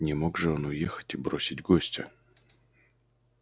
не мог же он уехать и бросить гостя